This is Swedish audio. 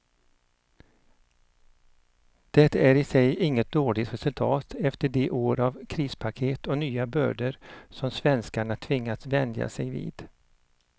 Det är i sig inget dåligt resultat efter de år av krispaket och nya bördor som svenskarna tvingats vänja sig vid.